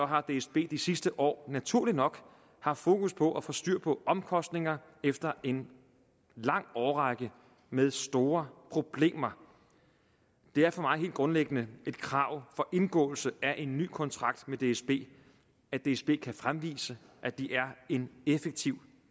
har dsb de sidste år naturligt nok haft fokus på at få styr på omkostninger efter en lang årrække med store problemer det er for mig helt grundlæggende et krav for indgåelse af en ny kontrakt med dsb at dsb kan fremvise at det er en effektiv